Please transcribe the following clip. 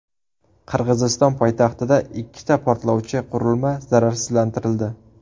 Qirg‘iziston poytaxtida ikkita portlovchi qurilma zararsizlantirildi.